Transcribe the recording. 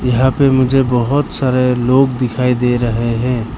यहां पे मुझे बहोत सारे लोग दिखाई दे रहे हैं।